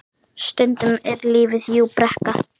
Stundum er lífið jú brekka.